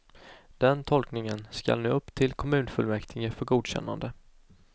Den tolkningen skall nu upp till kommunfullmäktige för godkännande.